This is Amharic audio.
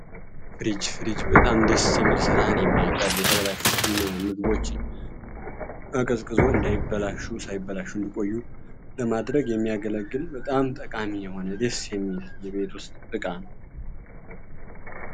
ምግቦችን እንዳይበላሹ ቆዩ ለማድረግ የሚያገለግል በጣም ጠቃሚ የሆነ